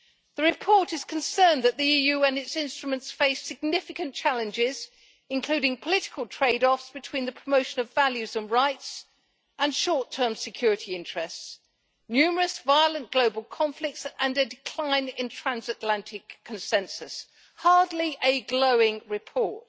The report is concerned that the EU and its instruments face significant challenges, including political trade offs between the promotion of values and rights and short term security interests, numerous violent global conflicts and a decline in transatlantic consensus. Hardly a glowing report.